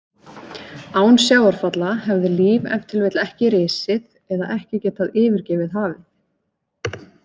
Án sjávarfalla hefði líf ef til vill ekki risið eða ekki getað yfirgefið hafið.